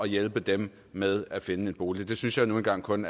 hjælpe dem med at finde en bolig det synes jeg nu engang kun